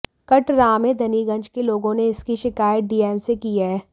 कटरामेदनीगंज के लोगों ने इसकी शिकायत डीएम से की है